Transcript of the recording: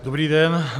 Dobrý den.